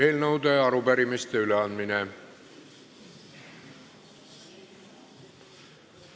Eelnõude ja arupärimiste üleandmine.